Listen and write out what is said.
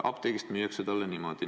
Apteegist müüakse talle niimoodi.